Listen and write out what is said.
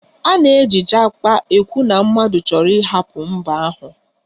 A na-eji Japa ekwu na mmadụ chọrọ ịhapụ mba ahụ